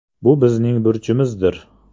Bu bizning burchimizdir.